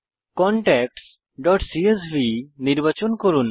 contactsসিএসভি নির্বাচন করুন